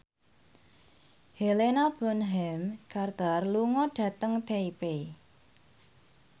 Helena Bonham Carter lunga dhateng Taipei